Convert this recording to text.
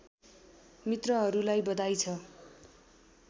मित्रहरूलाई बधाई छ